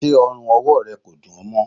Ṣé ọrùn-ọwọ rẹ kò dún ọ mọ?